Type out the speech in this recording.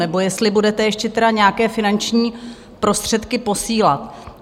Nebo jestli budete ještě teda nějaké finanční prostředky posílat?